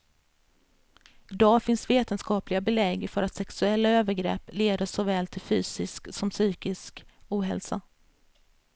Idag finns vetenskapliga belägg för att sexuella övergrepp leder såväl till fysisk som psykisk ohälsa.